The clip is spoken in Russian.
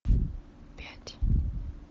пять